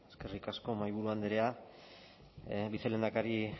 eskerrik asko mahaiburu andrea vicelehendakari